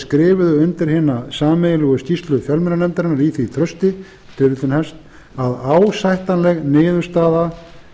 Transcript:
skrifuðu undir hina sameiginlegu skýrslu fjölmiðlanefndarinnar í því trausti að ásættanleg niðurstaða